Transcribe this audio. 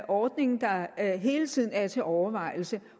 ordning der hele tiden er til overvejelse